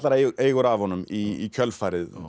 eigur af honum í kjölfarið